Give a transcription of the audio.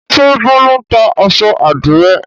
Ṣé Bólú ń ta aṣọ àdìrẹ́?